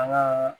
An ŋaa